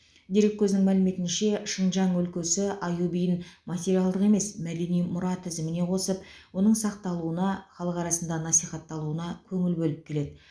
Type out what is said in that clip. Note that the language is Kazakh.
дерекөзінің мәліметінше шыңжан өлкесі аю биін материалдық емес мәдени мұра тізіміне қосып оның сақталуына халық арасында насихатталуына көңіл бөліп келеді